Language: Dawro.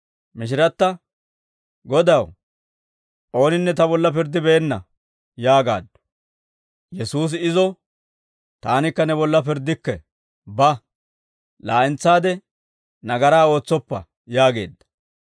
Mishiratta, «Godaw, ooninne ta bolla pirddibeenna» yaagaaddu. Yesuusi izo, «Taanikka ne bolla pirddikke; ba; laa'entsaade nagaraa ootsoppa» yaageedda.